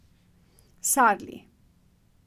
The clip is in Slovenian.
Sarli.